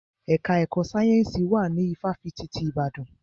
Ẹka ẹ̀kọ́ sáyẹ́nsì wà ní ifáfitì ti Ìbàdàn.